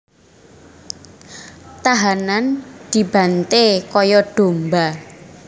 Tahanan dibanté kaya domba